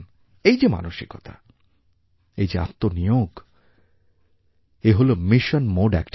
এই যে মানসিকতা এই যে আত্মনিয়োগ এ হলো মিশন মোড activity